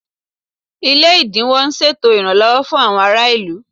Ilé ẹ̀dínwó ń ṣètò ìrànlọ́wọ́ fún àwọn ará ìlú